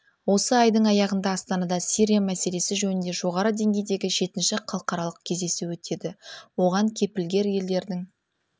осы айдың аяғында астанада сирия мәселесі жөнінде жоғары деңгейдегі жетінші халықаралық кездесу өтеді оған кепілгер елдердің